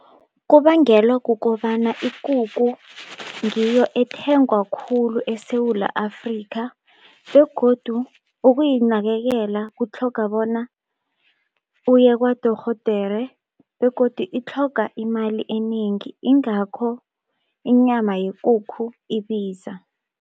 Kubangelwa kukobana ikukhu ngiyo ethengwa khulu eSewula Afrika begodu ukuyinakekela kutlhoga bona iye kwadorhodere begodu itlhoga imali enengi ingakho inyama yekukhu ibiza.